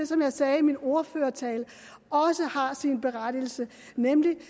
som jeg sagde i min ordførertale også har sin berettigelse nemlig